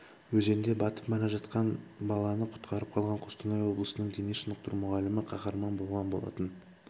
өзенде батып бара жатқан баланы құтқарып қалған қостанай облысының дене шынықтыру мұғалімі қаһарман болған болатын